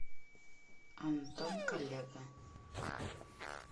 антон коллега